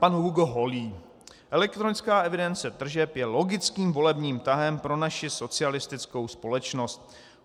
Pan Hugo Holý: Elektronická evidence tržeb je logickým volebním tahem pro naši socialistickou společnost.